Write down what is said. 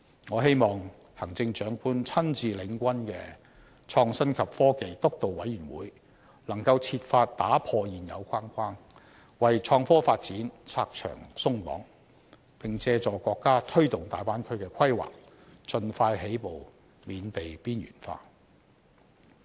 我希望行政長官親自領軍的創新及科技督導委員會，能夠設法打破現有框架，為創科發展"拆牆鬆綁"，並借助國家推動大灣區的規劃，盡快起步，免被邊緣化。